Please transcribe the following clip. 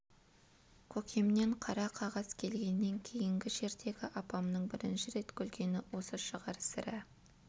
көкемнен қара қағаз келгеннен кейінгі жердегі апамның бірінші рет күлгені осы шығар сірә